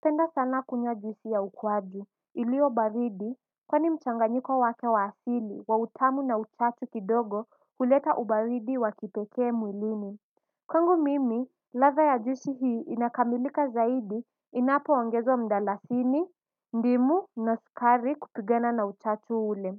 Penda sana kunywa juisi ya ukwaju iliyo baridi kwani mchanganyiko wake wa asiili wa utamu na uchachu kidogo huleta ubaridi wakipekee mwilini. Kwangu mimi ladha ya juisi hii inakamilika zaidi inapoongezwa mdalasini. Ndimu na sukari kupigana na uchachu ule.